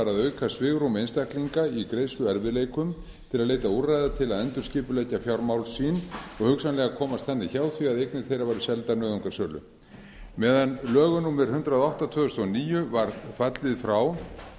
að auka svigrúm einstaklinga í greiðsluerfiðleikum til að leita úrræða til að endurskipuleggja fjármál sín og hugsanlega komast þannig hjá því að eignir þeirra verði seldar nauðungarsölu með lögum númer hundrað og átta tvö þúsund og níu var fallið frá